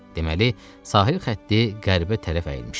Deməli, sahil xətti qərbə tərəf əyilmişdi.